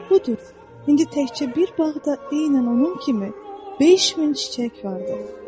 Budur, indi təkcə bir bağda eynən onun kimi 5000 çiçək vardır.